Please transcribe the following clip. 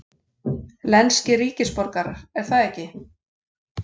lenskir ríkisborgarar, er það ekki?